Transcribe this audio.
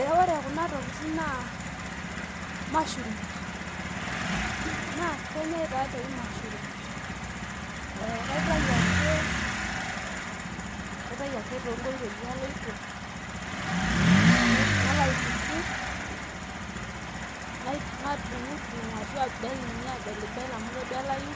ee ore kunatokitin naa mashurums naa kenyae kuna tokitin katayu ake toonkoitoi aloito nalo aituku , nadung'idung'u ashu abel ninye amu kebelayu,